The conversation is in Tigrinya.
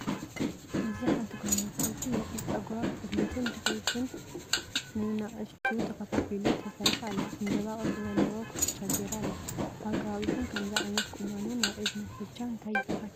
እዚ ሓንቲ ጓል ኣንስተይቲ የርኢ። ጸጉራ ብቕድሚትን ድሕሪትን ብንኣሽቱ ተኸፋፊሉ ተሰሪሓ ኣላ ። ዕምባባ ቅርጺ ዘለዎ ኩትቻ ገይራ ኣላ። ኣብ ከባቢኩም ከምዚ ዓይነት ቁናኖ ናይ እዝኒ ኩትቻን እንታይ ይባሃል?